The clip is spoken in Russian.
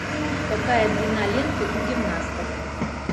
какая длина ленты у гимнасток